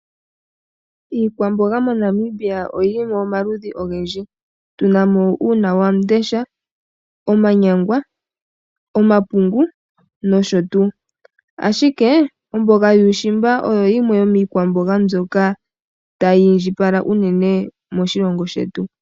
Iikwamboga moNamibia oyili mo omaludhi ogendji tuna mo uunawamundesha, omanyangwa, omapungu nosho tuu. Ashike omboga yuushimba oyo yimwe yomiikwamboga mbyoka tayi indjipala unene moshilongo shetu.